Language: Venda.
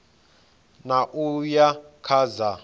ṋ a uya kha dza